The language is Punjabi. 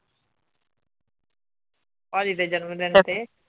ਭਾਜੀ ਦੇ ਜਨਮਦਿਨ ਤੇ